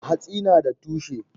Hatsi nada tushe.